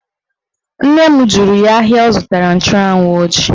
Nne m jụrụ ya ahịa ọ zụtara nchụanwụ ọ ji